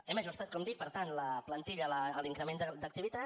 hem ajustat com dic per tant la plantilla a l’increment d’activitat